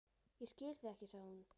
Ég skil þig ekki, sagði hún.